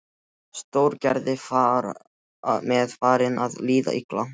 Stóragerði var mér farið að líða illa.